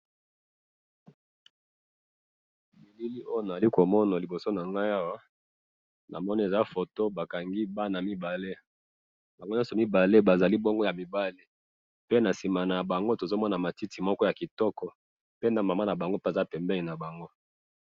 Na moni bana mibale , na sima na bango matiti, na maman na bango aza na sima na bango.